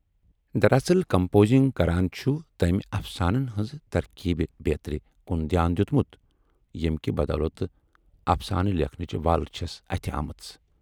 دراصٕل composing کران چھُ تٔمۍ افسانَن ہٕنز ترکیٖبہِ بیترِ کُن دیان دِیُتمُت ییمہِ کہِ بَدولتہٕ افسانہٕ لیکھنٕچ وَل چھَس اتھِ آمٕژ۔